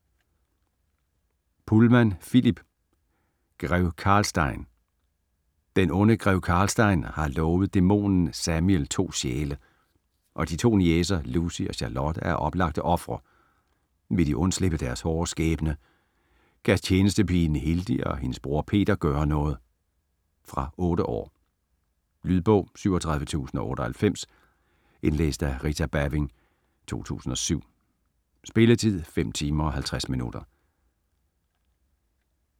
Pullman, Philip: Grev Karlstein Den onde grev Karlstein har lovet dæmonen Zamiel to sjæle, og de to niecer Lucy og Charlotte er oplagte ofre. Vil de undslippe deres hårde skæbne? Kan tjenestepigen Hildi og hendes bror Peter gøre noget? Fra 8 år. Lydbog 37098 Indlæst af Rita Baving, 2007. Spilletid: 5 timer, 50 minutter.